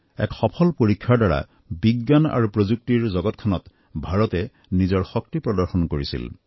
এক সফল পৰীক্ষাৰ দ্বাৰা বিজ্ঞান আৰু প্ৰযুক্তিৰ জগতখনত ভাৰতে নিজৰ শক্তি প্ৰদৰ্শন কৰিছিল